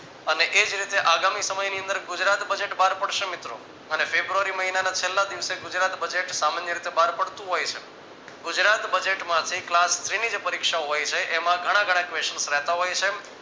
અને એ જ રીતે આગામી સમયની અંદર ગુજરાત budget બાર પડશે મિત્રો અને ફેબ્રુઆરી મહિનાના છેલ્લા દિવસે ગુજરાત budget સામાન્ય રીતે બહાર પડતું હોય છે. ગુજરાત budget માંથી class three ની જે પરીક્ષા હોય છે. એમાં ઘણા ઘણા question રહેતા હોય છે.